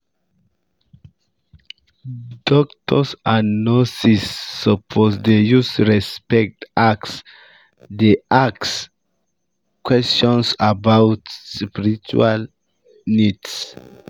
doctors and nurses suppose dey use respect ask dey ask um questions about about spiritual um needs